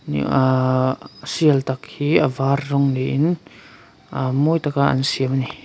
aaaaah sial tak hi a var rawng niin aah mawi tak a an siam a ni.